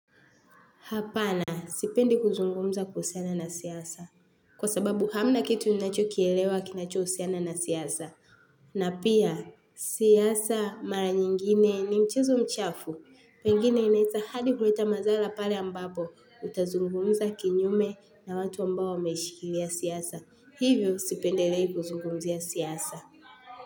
Hapana, sipendi kuzungumza kuhusiana na siasa. Kwa sababu hamna kitu ninachokielewa kinachohusiana na siasa. Na pia, siasa mara nyingine ni mchezo mchafu. Pengine inaeza hadi kuleta mazala pale ambapo utazungumza kinyume na watu ambao wameishikilia siasa. Hivyo sipendelei kuzungumzia siasa.